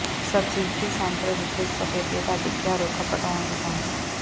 subsidiary centre ਵਿਖੇ ਸਫ਼ੈਦੇ ਦਾ ਡਿੱਗਿਆ ਰੁੱਖ ਪੁਟਾਉਣ ਦੀ ਮੰਗ